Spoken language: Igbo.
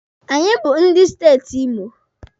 Anyị bụ ndị steeti Imo